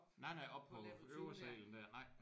Nej nej op på øvre salen der nej